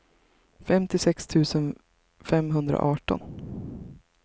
femtiosex tusen femhundraarton